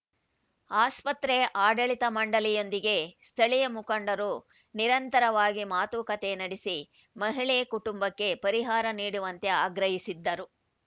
ಆಸ್ಪತ್ರೆ ಆಡಳಿತ ಮಂಡಳಿಯೊಂದಿಗೆ ಸ್ಥಳೀಯ ಮುಖಂಡರು ನಿರಂತರವಾಗಿ ಮಾತುಕತೆ ನಡೆಸಿ ಮಹಿಳೆ ಕುಟುಂಬಕ್ಕೆ ಪರಿಹಾರ ನೀಡುವಂತೆ ಆಗ್ರಹಿಸಿದ್ದರು